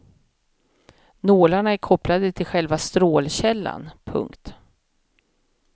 Nålarna är kopplade till själva strålkällan. punkt